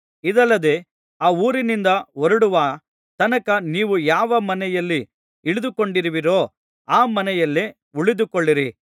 ಇದಲ್ಲದೆ ಆ ಊರಿನಿಂದ ಹೊರಡುವ ತನಕ ನೀವು ಯಾವ ಮನೆಯಲ್ಲಿ ಇಳಿದುಕೊಂಡಿರುವಿರೋ ಆ ಮನೆಯಲ್ಲೇ ಉಳಿದುಕೊಳ್ಳಿರಿ